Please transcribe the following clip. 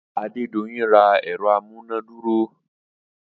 Adedoyin ra ẹ̀rọ amúnádúró